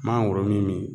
Mangoro min